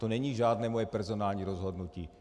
To není žádné moje personální rozhodnutí.